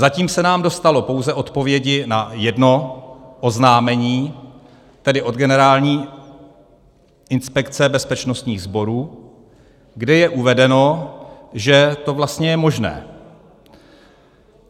Zatím se nám dostalo pouze odpovědi na jedno oznámení, tedy od Generální inspekce bezpečnostních sborů, kde je uvedeno, že to vlastně je možné.